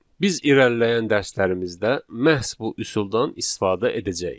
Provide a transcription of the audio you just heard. Biz irəliləyən dərslərimizdə məhz bu üsuldan istifadə edəcəyik.